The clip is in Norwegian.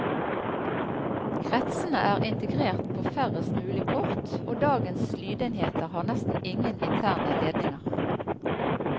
Kretsene er integrert på færrest mulig kort, og dagens lydenheter har nesten ingen interne ledninger.